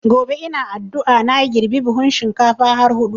Gobe ina addua na girbe buhun shinkafa har hudu